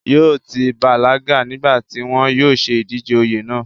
yóò ti bàlágà nígbà tí wọn yóò ṣe ìdíje oyè náà